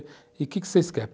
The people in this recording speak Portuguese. E o que vocês querem?